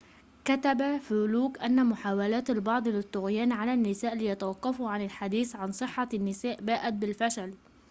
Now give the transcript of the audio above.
كتب فلوك أن محاولات البعض للطغيان على النساء ليتوقفوا عن الحديث عن صحة النساء باءت بالفشل